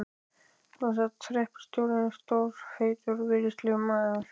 Þarna sat hreppstjórinn, stór, feitur og virðulegur maður.